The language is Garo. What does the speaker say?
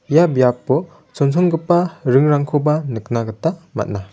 ia biapo chonchongipa ringrangkoba nikna gita man·a.